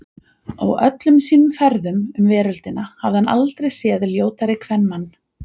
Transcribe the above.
Á öllum sínum ferðum um veröldina hafði hann aldrei séð ljótari kvenmann.